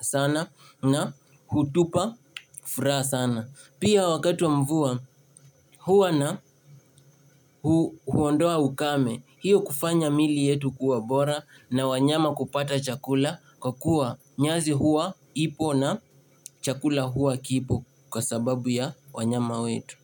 sana na hutupa furaha sana. Pia wakati wa mvua huwana huondoa ukame hiyo kufanya mili yetu kuwa bora na wanyama kupata chakula kwa kuwa nyasi huwa ipo na chakula huwa kipo kwa sababu ya wanyama wetu.